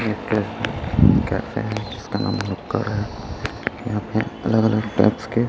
एक उम कहते हैं इसका नाम भूलक्कड़ है यहां पे अलग अलग टाइप्स के--